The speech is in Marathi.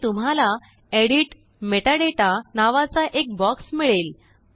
पुढे तुम्हालाEdit मेटाडाटा नावाचाएक बॉक्स मिळेल